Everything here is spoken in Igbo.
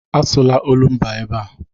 Asụla olumba ebe a!